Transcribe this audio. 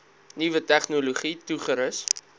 nuwe tegnologie toegerus